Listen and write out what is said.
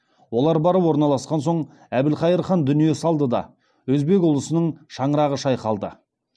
олар барып орналасқан соң әбілхайыр хан дүние салды да өзбек ұлысының шаңырағы шайқалды